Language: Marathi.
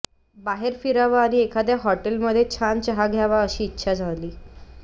बाहेर फिरावं आणि एखाद्या हॉटेलमध्ये छान चहा घ्यावा अशी इच्छा झाली